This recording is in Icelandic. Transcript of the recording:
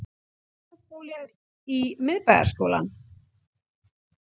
Kvennaskólinn í Miðbæjarskólann